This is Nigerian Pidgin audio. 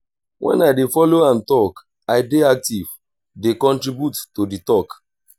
wen i dey folo am tok i dey active dey contribute to di talk.